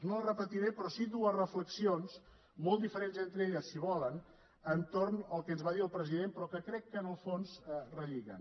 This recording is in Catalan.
no les repetiré però sí dues reflexions molt diferents entre elles si volen entorn del que ens va dir el present però crec que en el fons relliguen